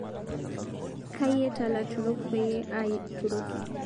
Kayieta laturok payie aaturoki